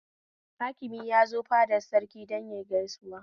Hakimi ya zo fadar Sarki don yayi gaisuwa